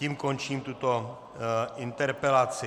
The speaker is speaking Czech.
Tím končím tuto interpelaci.